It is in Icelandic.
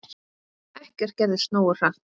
Ekkert gerðist nógu hratt!